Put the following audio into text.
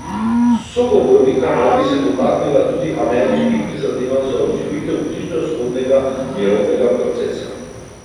Sogovornika naj bi se dotaknila tudi ameriških prizadevanj za oživitev bližnjevzhodnega mirovnega procesa.